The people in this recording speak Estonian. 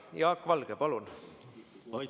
Jaak Valge, palun!